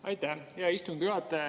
Aitäh, hea istungi juhataja!